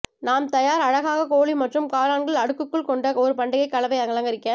நாம் தயார் அழகாக கோழி மற்றும் காளான்கள் அடுக்குகள் கொண்ட ஒரு பண்டிகை கலவை அலங்கரிக்க